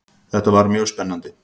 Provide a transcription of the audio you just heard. Þetta var mjög spennandi.